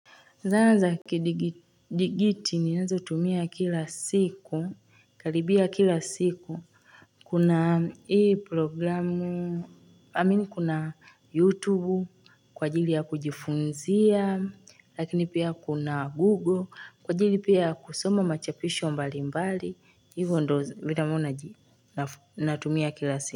Zana za kidigiti ninazotumia kila siku, karibia kila siku, kuna hii programu, amini kuna YouTube, kwa ajili ya kujifunzia, lakini pia kuna Google, kwa ajili pia kusoma machapisho mbalimbali, hivyo ndo vile ambapo naji, natumia kila siku.